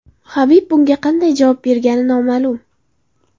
Habib bunga qanday javob bergani noma’lum.